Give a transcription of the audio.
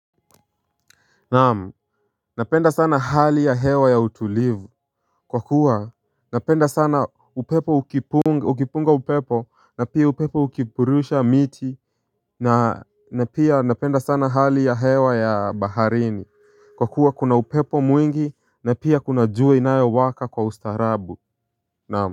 Naam, napenda sana hali ya hewa ya utulivu kwa kuwa, napenda sana upepo ukipunga ukipunga upepo na pia upepo ukipurusha miti, na pia napenda sana hali ya hewa ya baharini kwa kuwa kuna upepo mwingi na pia kuna jua inayowaka kwa ustaarabu, naam.